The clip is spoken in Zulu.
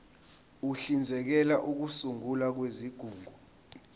uhlinzekela ukusungulwa kwezigungu